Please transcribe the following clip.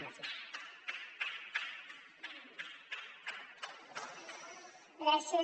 i gràcies